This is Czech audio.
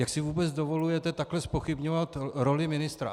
Jak si vůbec dovolujete takhle zpochybňovat roli ministra?